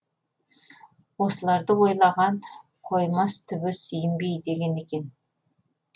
осыларды ойлаған қоймас түбі сүйінбей деген екен